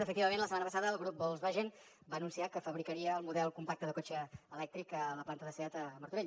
efectivament la setmana passada el grup volkswagen va anunciar que fabricaria el model compacte de cotxe elèctric a la planta de seat a martorell